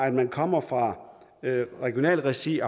at man kommer fra regionalt regi